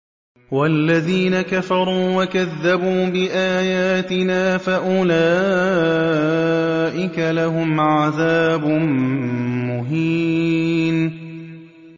وَالَّذِينَ كَفَرُوا وَكَذَّبُوا بِآيَاتِنَا فَأُولَٰئِكَ لَهُمْ عَذَابٌ مُّهِينٌ